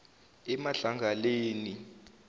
emadlangaleni